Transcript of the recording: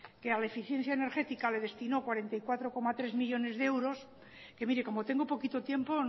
que a la eficiencia energética le destinó cuarenta y cuatro coma tres millónes de euros que mire como tengo poquito tiempo